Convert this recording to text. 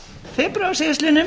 febrúar síðastliðnum